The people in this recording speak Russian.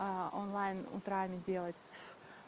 а онлайн утрами делать